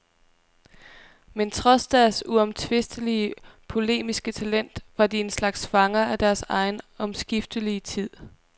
Men trods deres uomtvistelige polemiske talent var de en slags fanger af deres egen omskiftelige tid.